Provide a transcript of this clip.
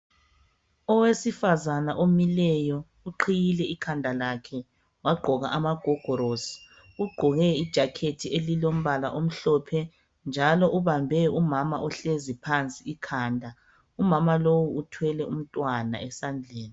Owesifazana omileyo, uqhiyile ikhanda lakhe. Wagqoka lamagogorosi. Ugqoke ijacket elilombala omhlophe, njalo ubambe umama ohlezi phansi ikhanda. Umama lo uthwele umntwana esandleni.